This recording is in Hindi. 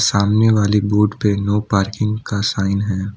सामने वाली बॉर्डर पे नो पार्किंग का साइन है।